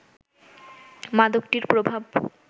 মাদকটির প্রভাব